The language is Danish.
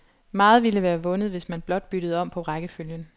Meget ville være vundet, hvis man blot byttede om på rækkefølgen.